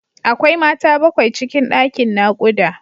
Akwai Mata bakwai cikin ɗakin naƙuda.